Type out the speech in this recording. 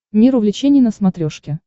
мир увлечений на смотрешке